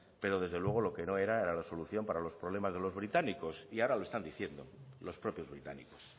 pero desde luego lo que no era era la solución para los problemas de los británicos y ahora lo están diciendo los propios británicos